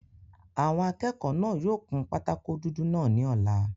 Àwọn akẹ́kọ̀ọ́ náà yóò kun pátákó dúdú náà ní ọ̀la